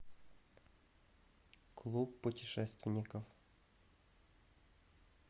клуб путешественников